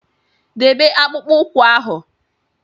Debe akpụkpọ ụkwụ ahụ!